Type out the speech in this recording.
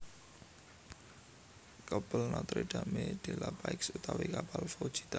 Kapel Notre Dame de la Paix utawi Kapel Foujita